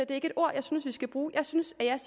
er et ord vi skal bruge jeg synes at jeg